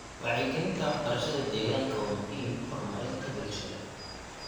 Wacyigelinta waxbarashada deegaanka waa muhiim horumarinta bulshada.